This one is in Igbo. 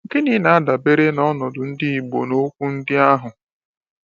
Gịnị na-adabere n’ọnọdụ ndị Igbo na na okwu ndị ahụ?